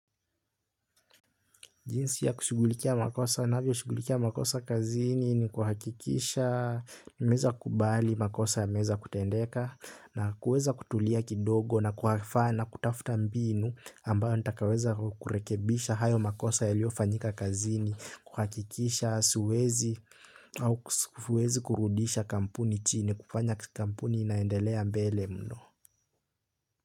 Jinsi ya kushughulikia makosa navyoshugulikia makosa kazini ni kuhakikisha, nimeeza kubali makosa yameeza kutendeka na kuweza kutulia kidogo na kuhafana kutafuta mbinu ambayo ntakaweza kurekebisha hayo makosa yaliofanyika kazini, kuhakikisha, suwezi au siwezi kurudisha kampuni chini, kufanya kampuni inaendelea mbele mno.